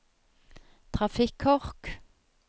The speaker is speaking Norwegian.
trafikkork